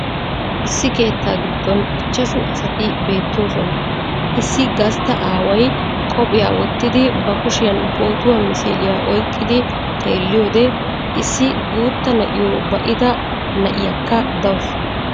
Issi keettaa giddon ichchashshu asati beettoosona. Issi gastta aaway qophphiya wottidi ba kushiyan pootuwaa misiliya oyqqidi xeeliyode, issi guuttaa na'iyo ba"ida na'iyakka dawusu.